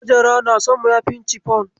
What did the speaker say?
Hajara na son mayafin cifon.